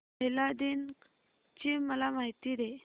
महिला दिन ची मला माहिती दे